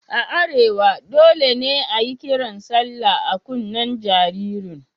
A arewa dole ne a yi kiran sallah a kunnen jaririn.